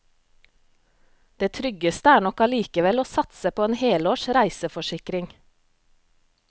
Det tryggeste er nok allikevel å satse på en helårs reiseforsikring.